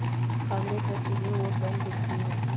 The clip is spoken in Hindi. कांग्रेस हर चीज में वोट बैंक देखती है